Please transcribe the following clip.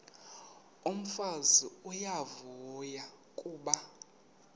umfazi uyavuya kuba